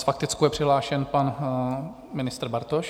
S faktickou je přihlášen pan ministr Bartoš.